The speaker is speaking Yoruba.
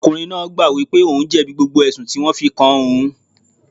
Ọkùnrin náà wípé ohun jẹ̀bi gbogbo ẹ̀sùn tí wón fi kàn án.